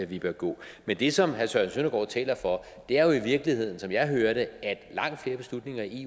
vi bør gå men det som herre søren søndergaard taler for er jo i virkeligheden som jeg hører det at langt flere beslutninger i